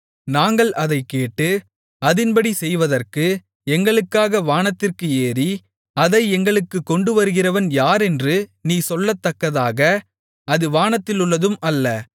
நாங்கள் அதைக் கேட்டு அதின்படி செய்வதற்கு எங்களுக்காக வானத்திற்கு ஏறி அதை எங்களுக்குக் கொண்டுவருகிறவன் யாரென்று நீ சொல்லத்தக்கதாக அது வானத்திலுள்ளதும் அல்ல